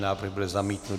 Návrh byl zamítnut.